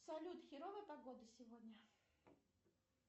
салют херовая погода сегодня